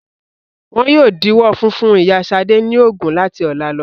Wọn yóò díwọ́ funfun ìyá Ṣad ní oògùn láti ọ̀la lọ.